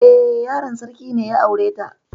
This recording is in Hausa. Eh, yaron sarki ne ya aure ta.